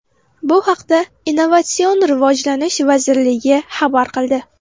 Bu haqda Innovatsion rivojlanish vazirligi xabar qildi .